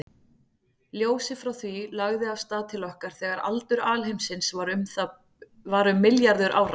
Ljósið frá því lagði af stað til okkar þegar aldur alheimsins var um milljarður ára.